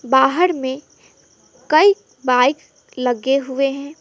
बाहर में कई बाइक लगे हुए हैं।